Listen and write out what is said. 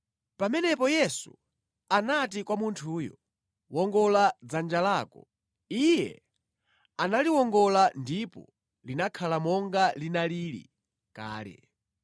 Pamenepo Yesu anati kwa munthuyo, “Wongola dzanja lako.” Iye analiwongola ndipo linakhala monga linalili kale.